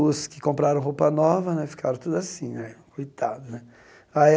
Os que compraram roupa nova né ficaram tudo assim né, coitado né. Aí a